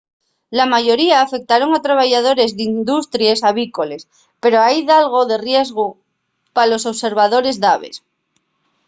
la mayoría afectaron a trabayadores d’industries avícoles pero hai dalgo de riesgu pa los observadores d’aves